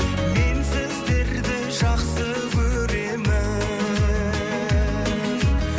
мен сіздерді жақсы көремін